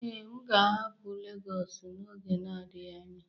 Ee, m ga-ahapụ Legosu n'oge adịghị anya